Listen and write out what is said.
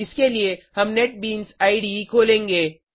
इसके लिए हम नेटबीन्स इडे खोलेंगे